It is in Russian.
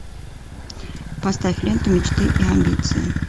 поставь ленту мечты и амбиции